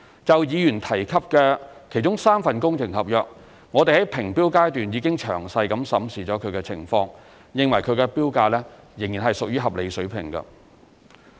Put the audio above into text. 就議員提及的其中3份工程合約，我們在評標階段已詳細審視情況，認為其標價仍屬合理水平。